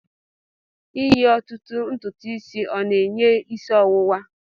Eyi otutu ntutu isi o'na-enye isi ọwụwa?